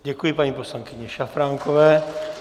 Děkuji paní poslankyni Šafránkové.